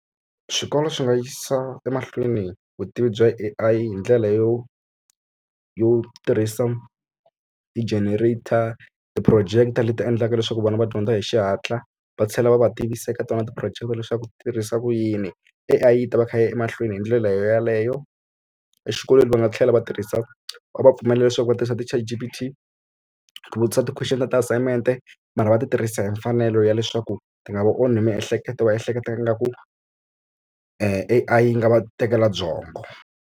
Swikolo swi nga yisa emahlweni vutivi bya A_I hi ndlela yo yo tirhisa ti-generator ti-projector leti endlaka leswaku vana va dyondza hi xihatla va tlhela va va tivisa eka tona ti-projector leswaku tirhisa ku yini A_I yi ta va kha yi ya emahlweni hi ndlela yoyeleyo. Exikolweni va nga tlhela va tirhisa va va pfumelela leswaku va tirhisa ti-chatgpt ku vutisa ti-question ta ti-assignment-e mara va ti tirhisa hi mfanelo ya leswaku ti nga va onhi miehleketo va ehleketa ingaku A_I yi nga va tekela byongo.